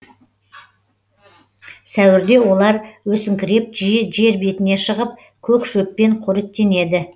сәуірде олар өсіңкіреп жиі жер бетіне шығып көк шөппен қоректенеді